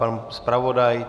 Pan zpravodaj?